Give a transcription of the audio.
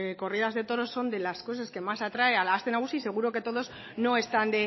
corridas de toros son de las cosas que más atrae a la aste nagusia y seguro que todos no están